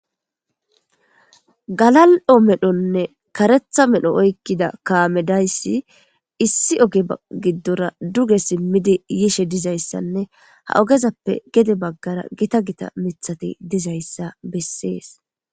Galal7o medhonne karetha medho oykkida kaamedayssi issi oge giddora duge simmidi yishe dizayssanne ha ogezappe gede baggara gita gita mithati dizayssa bessees.